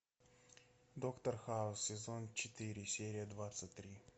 доктор хаус сезон четыре серия двадцать три